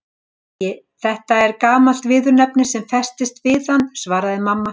Æ, þetta er gamalt viðurnefni sem festist við hann svaraði mamma.